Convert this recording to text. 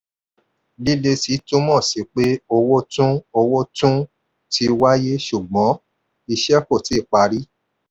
lílesi túmọ̀ sí pé owó tún owó tún ti wáyé ṣùgbọ́n iṣẹ́ kò tíì pari.